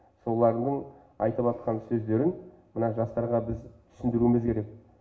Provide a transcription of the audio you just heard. солардың айтыватқан сөздерін мына жастарға біз түсіндіруіміз керек